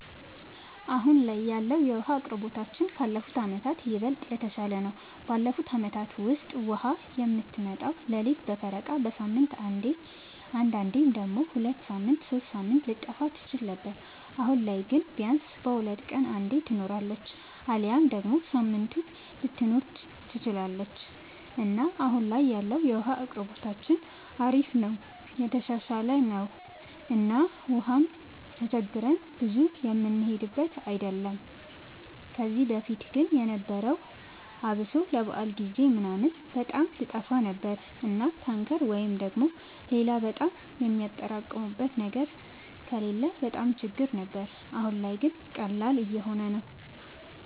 አሁን ላይ ያለወለ የዉሀ አቅርቦታችን ካለፉት አመታት ይበልጥ የተሻለ ነው። ባለፉት አመታት ውስጥ ውሃ የምትመጣው ሌሊት በፈረቃ፣ በሳምንት አንዴ አንዳንዴም ደግሞ ሁለት ሳምንት ሶስት ሳምንት ልትጠፋ ትችል ነበር። አሁን ላይ ግን ቢያንስ በሁለት ቀን አንዴ ትኖራለች አሊያም ደግሞ ሳምንቱንም ልትኖር ትችላለች እና አሁን ላይ ያለው የውሃ አቅርቦታችን አሪፍ ነው የተሻሻለ ነው እና ውሃም ተቸግረን ብዙ የምንሄድበት አይደለም። ከዚህ በፊት ግን የነበረው አብሶ ለበዓል ጊዜ ምናምን በጣም ትጠፋ ነበር እና ታንከር ወይ ደግሞ ሌላ በጣም የሚያጠራቅሙበት ነገር ከሌለ በጣም ችግር ነበር። አሁን ላይ ግን ቀላል እየሆነ ነው።